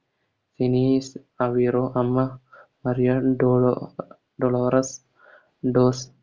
Dennis Aveiro അമ്മ Maria ഡ്രോളോ Dolores dose